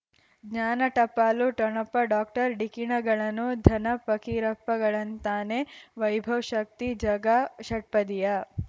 ಜ್ಞಾನ ಟಪಾಲು ಠೊಣಪ ಡಾಕ್ಟರ್ ಢಿಕ್ಕಿ ಣಗಳನು ಧನ ಫಕೀರಪ್ಪ ಳಂತಾನೆ ವೈಭವ್ ಶಕ್ತಿ ಝಗಾ ಷಟ್ಪದಿಯ